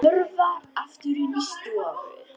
Hörfar aftur inn í stofu.